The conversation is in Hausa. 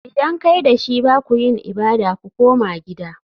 Idan kai da shi ba ku yin ibada. Ku koma gida!